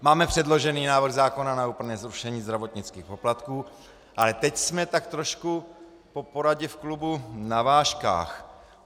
Máme předložený návrh zákona na úplné zrušení zdravotnických poplatků, ale teď jsme tak trošku po poradě v klubu na vážkách.